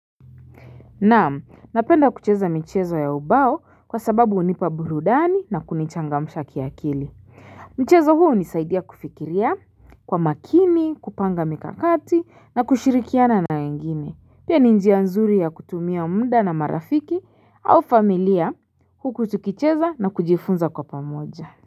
Naam napenda kucheza michezo ya ubao kwa sababu unipa burudani na kunichangamsha kiakili Mchezo huo unisaidia kufikiria kwa makini kupanga mikakati na kushirikiana na wengine pia ni njia nzuri ya kutumia mda na marafiki au familia huku tukicheza na kujifunza kwa pamoja.